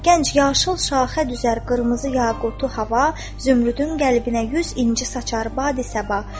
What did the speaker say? Gənc yaşıl şaxə düzər, qırmızı yaqutu hava, zümrüdün qəlbinə yüz inci saçar badi səba.